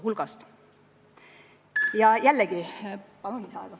Palun lisaaega!